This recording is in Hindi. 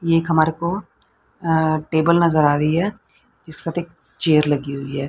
एक हमारे को टेबल अ नजर आ रही है चेयर लगी हुई है।